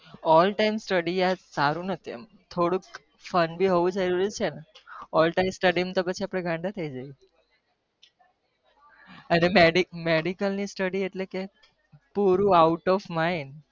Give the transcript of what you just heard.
All time study સારું ન કેવાય થોડું મજાક મસ્તી હોવી જોવ ક medical study એટલે કે